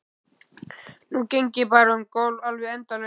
Nú geng ég bara um gólf, alveg endalaust.